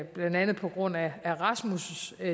blandt andet på grund af rasmus